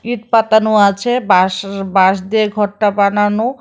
ইট পাতানো আছে বাঁশ-শ বাঁশ দিয়ে ঘরটা বানানো।